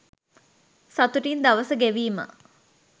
සතුටින් දවස ගෙවීම